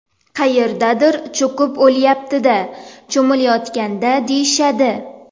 Qayerdadir cho‘kib o‘lyapti-da cho‘milayotganda deyishadi.